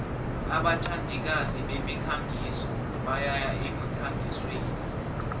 abathandikazi bemikhangiso bayaya emkhangisweni